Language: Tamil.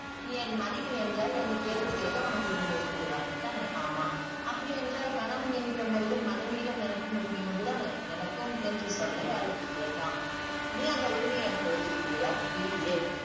நீ என் மனைவி என்றால் என்னை கேள்வி கேட்க உனக்கு உரிமை இருக்குது அப்படி தானே? ஆமாம். அப்படி என்றால் கணவன் என்கிற முறையில் மனைவியிடம் எனக்கும் உரிமை உண்டு தானே? எனக்கும் என்ற சொல்லை அழுத்தி கேட்டான். நீ அந்த உரிமையை எனக்கு கொடுத்திருக்கிறயா? இல்லையே.